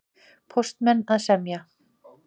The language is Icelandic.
Póstmenn að semja